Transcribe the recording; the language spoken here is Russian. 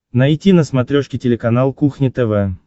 найти на смотрешке телеканал кухня тв